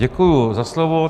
Děkuji za slovo.